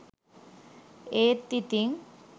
ඒත් ඉතිං